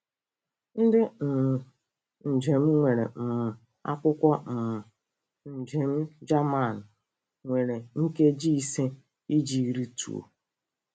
Ndị um njem nwere um akwụkwọ um njem Jaman nwere nkeji ise iji rịtuo.